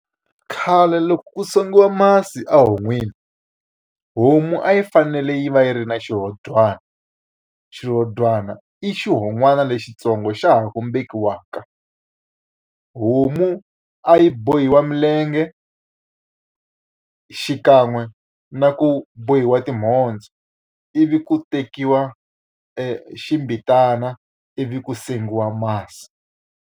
Khale loko ku sengiwa masi ehon'wini, homu a yi fanele yi va yi ri na xirhodyana. Xirhodyana i xi hon'wana lexitsongo xa ha ku beburiwaka. Homu munhu a yi bohiwa milenge xikan'we na ku bohiwa timhondzo, ivi ku tekiwa e xibelana ivi ku sengiwa masi.